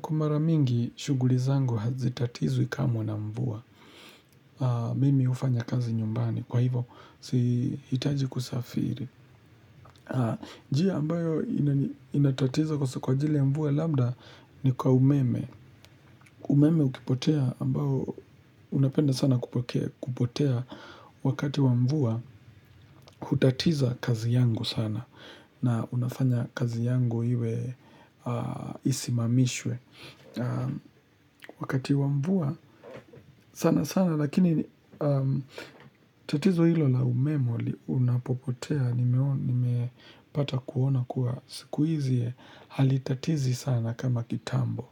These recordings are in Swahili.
Kwa mara mingi, shuguli zangu hazitatizwi kamwe na mvua. Mimi ufanya kazi nyumbani. Kwa hivo, sihitaji kusafiri. Njia ambayo inatatiza kwa ajili ya mvua labda ni kwa umeme. Umeme ukipotea ambao unapenda sana kupotea wakati wa mvua, hutatiza kazi yangu sana na unafanya kazi yangu iwe isimamishwe. Wakati wa mvua sana sana lakini tatizo ilo la umeme unapopotea nimepata kuona kuwa siku hizi halitatizi sana kama kitambo.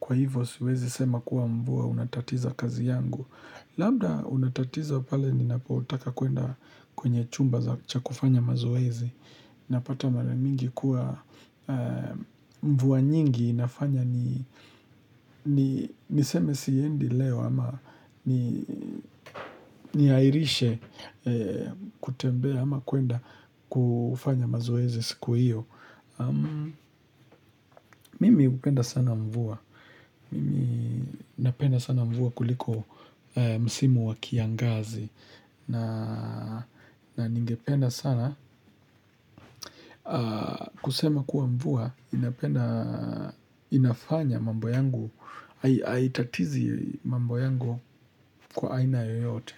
Kwa hivo siwezi sema kuwa mvua unatatiza kazi yangu. Labda unatatiza pale ninapotaka kuenda kwenye chumba cha kufanya mazoezi. Napata mara mingi kuwa mvua nyingi inafanya ni niseme siendi leo ama ni airishe kutembea ama kuenda kufanya mazoezi siku hiyo. Mimi hupenda sana mvua. Mimi napenda sana mvua kuliko msimu wakiangazi. Na ningependa sana kusema kuwa mvua inafanya mambo yangu. Haitatizi mambo yangu kwa aina yoyote.